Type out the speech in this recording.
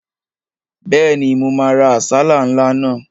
Bẹ́ẹ̀ni, mo máa ra àsálà ńlá náà